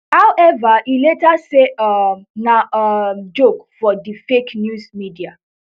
however e later say um na um joke for di fake news media